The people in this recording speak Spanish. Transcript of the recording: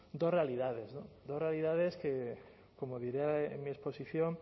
dos realidades dos realidades que como diré en mi exposición